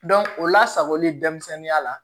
o lasagoli denmisɛnninya la